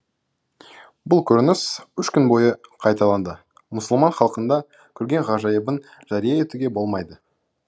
бұл көрініс үш күн бойы қайталанды мұсылман халқында көрген ғажайыбын жария етуге болмайды